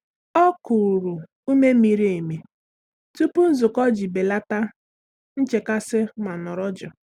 Ọ́ kùrù úmé miri emi tupu nzukọ iji bèlàtá nchekasị ma nọ́rọ́ jụụ.